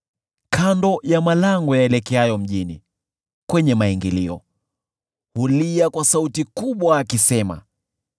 kando ya malango yaelekeayo mjini, kwenye maingilio, hulia kwa sauti kubwa, akisema: